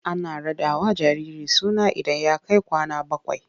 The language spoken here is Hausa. Ana raɗawa jariri suna idan ya kai kwana bakwai.